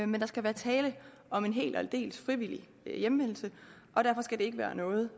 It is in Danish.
men der skal være tale om en helt og aldeles frivillig hjemvendelse og derfor skal det ikke være noget